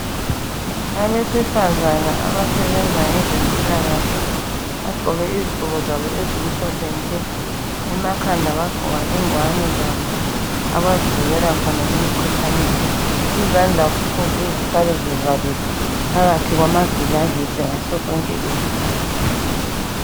Abesifazana abasebenza ngezempilakahle bagqoke izigqoko zabo ezimhlophe nke emakhanda bagqoka ingwane zabo abazivikela khona emkhuhlaneni. Izandla kufuze zihlale zivalelwe phakathi kwamagilavisi ngasosonke isikhathi